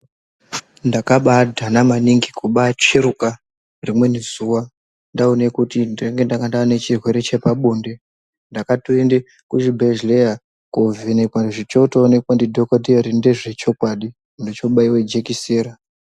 Ndakabadhana maningi, kubatsveruka rimweni zuwa ndaone kuti ndinenge ndanga ndaane chirwere chepabonde. Ndakatoende kuzvibhedhleya, kovhenekwa. Zvechoonekwa ndidhokoteya kuti ndezvechokwadi, ndechobaiwe jekesera.